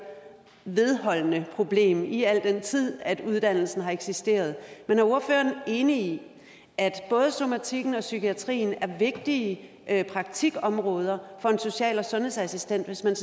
vedholdende problem i al den tid uddannelsen har eksisteret men er ordføreren enig i at både somatikken og psykiatrien er vigtige praktikområder for en social og sundhedsassistent hvis man